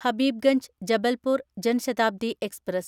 Habibganj Jabalpur Jan Shatabdi express